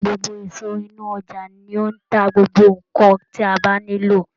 Gbogbo iso inu oja ni ó ń ta gbogbo nnkan tí a bá nílò.